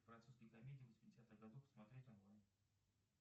французские комедии восьмидесятых годов смотреть онлайн